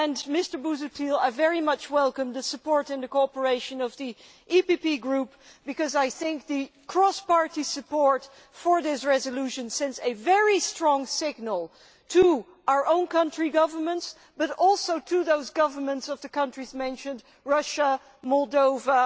Mr Busuttil, I very much welcome the support and the cooperation of the EPP Group, because I think that the cross party support for this resolution sends a very strong signal to our own countries' governments as well as to the governments of the countries mentioned Russia, Moldova